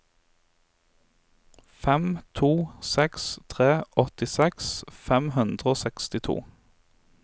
fem to seks tre åttiseks fem hundre og sekstito